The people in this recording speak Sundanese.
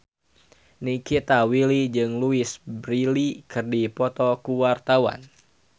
Nikita Willy jeung Louise Brealey keur dipoto ku wartawan